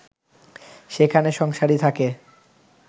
সেখানে সংসারী থাকে